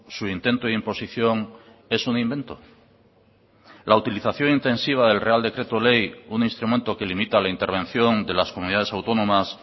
su intento de imposición es un invento la utilización intensiva del real decreto ley un instrumento que limita la intervención de las comunidades autónomas